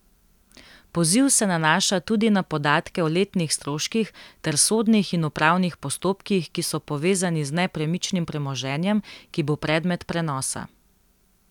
Poziv se nanaša tudi na podatke o letnih stroških ter sodnih in upravnih postopkih, ki so povezani z nepremičnim premoženjem, ki bo predmet prenosa.